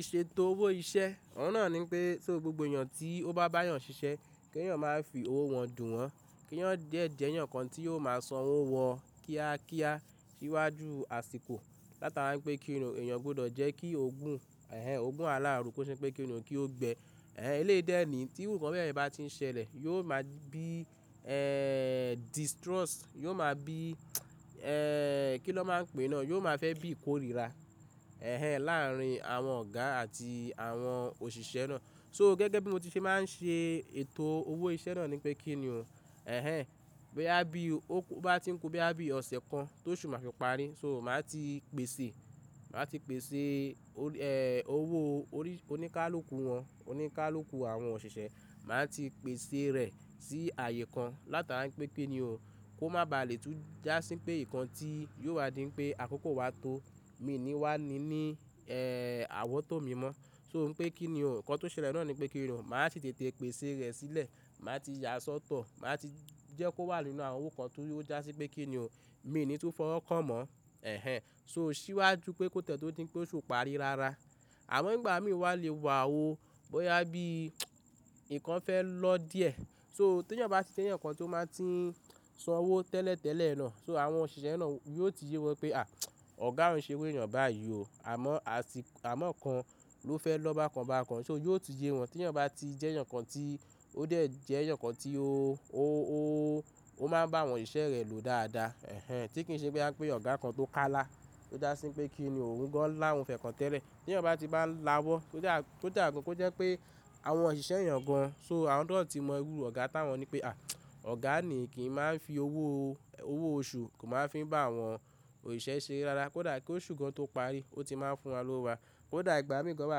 Ìṣètò owó iṣẹ́, ọ̀ún náà ni pé so gbogbo èèyàn tí ó bá bá èèyàn ṣiṣẹ́, kí èèyàn máa fi owó wọn dùn wọ́n, kí eeyan de je eeyàn ǹkan tí yóò máa san owó wọn kíá kíá síwájú àsìkò. Láti ára ń pẹ́ kí n nì o, èèyàn ogbọ́dọ̀ jẹ́ kí ogún, ẹh ẹh, ogún aláàrú kó ṣe pé kí n nì o kí ó gbẹ. Ẹh ẹh, eléyìí dẹ́ẹ̀ni tí irú ìkan bẹ́ẹ̀ yẹn bá ti ń ṣẹlẹ̀, yóò máa bí, distrust, yóò máa bí, kí ló máa ń pè náà? Yóò máa fẹ́ bí ìkórira, láàárín àwọn ọ̀gá àti àwọn òṣìṣẹ́ náà. So gẹ́gẹ́ bí mo ti ṣe máa ń ṣe ètò owó iṣẹ́ náà ni pé kí n nì o, bóyá bí ó bá ti ń kú, bóyá bí ọ̀sẹ̀ kan tó ṣùn máa fi parí, so màá ti pèsè, màá ti pèsè, owó orí oníkálùkù wọn, oníkálùkù àwọn òṣìṣẹ́, màá ti pèsè rẹ̀ sí ààyè kan láti ára ń pẹ́ ki ni o, kó má ba à lè tún jásí pé ìkan tí yóò wá dín pé àkókò wa tó, mi ni wá ni ní, àwọ̀ tó mi mọ́. So n pe kí n nì o, ǹkan tó ṣẹlẹ̀ náà ni pé kí n nì o, màá ti tètè pèsè rẹ̀ sílẹ̀, màá ti yà á sọ́tọ̀, màá ti jẹ́ kó wà nínú àwọn owó kan tó yóò jásí pé kí n nì o, mi ni tún fọwọ́ kan mọ́, so ṣíwájú pé kó tẹ́tẹ́ tó dín pé ó ṣò parí rárá. Àwọn ìgbà mìíràn lè wà ó bóyá bí ìkan fẹ́ lọ díẹ̀. So tí èèyàn bá ti ṣe ǹkan tí ó máa ti san owó tẹ́lẹ̀ tẹ́lẹ̀ náà, so àwọn òṣìṣẹ́ náà yóò ti ye wọn pé à, ọ̀gá wọn ń ṣe owó èèyàn báyìí o. Àmọ́, àti àmọ́ ǹkan ló fẹ́ lọ bákan bákan. So yóò ti ye wọn tí èèyàn bá ti jẹ́ ǹkan tí ó dẹ̀ jẹ́ eyan kan tí ó, ó máa ń bá àwọn òṣìṣẹ́ rẹ̀ lò dáadáa, ẹh ẹh, tí kì í ṣe pé a pé ọ̀gá kan tó ká lá, tó jásí pé kí n nì o òun gan láwọn fẹ́ kan tẹ́lẹ̀. Tí èèyàn bá ti bá ń láwọ́, kóda gan kò jẹ́ pé àwọn òṣìṣẹ́ èèyàn gan, so àwọn náà ó ti mọ irú ọ̀gá táwọn ni pé à, ọ̀gá ni kì í máa ń fi owó, owó oṣù kò máa ń fi bá àwọn òṣìṣẹ́ ṣe re rárá. Kódà kí oṣù kan tó parí, ó ti máa ń fún wa lówó wa. Kódà ìgbà mìí gàn wá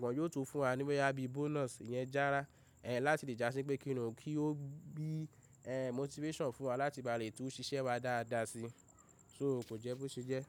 gan, yóò tún fún wa ní bóyá bí bonus iyẹn jára, ẹh ẹh, láti lè jásí pé kí n nì o kí ó bí, ẹh ẹh, motivation fún wa láti bá lè tún ṣiṣẹ́ wa dáadáa sí i. So kò jẹ́ bó ṣe jẹ́.